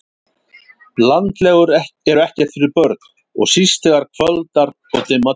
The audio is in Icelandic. Landlegur eru ekkert fyrir börn og síst þegar kvöldar og dimma tekur